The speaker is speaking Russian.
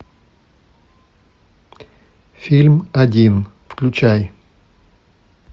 фильм один включай